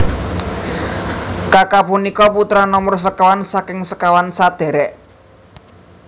Kaka punika putra nomer sekawan saking sekawan sadherek